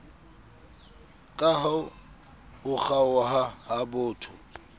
kaha ho kgaoha ha botho